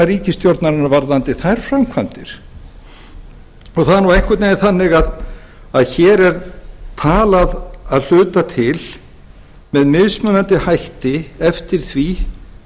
ríkisstjórnarinnar varðandi þær framkvæmdir það er nú einhvern veginn þannig að hér er talað að hluta til með mismunandi hætti eftir því